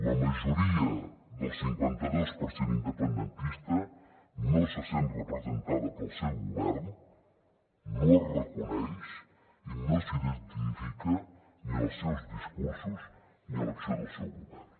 la majoria del cinquanta dos per cent independentista no se sent representada pel seu govern no es reconeix i no s’identifica ni en els seus discursos ni en l’acció del seu govern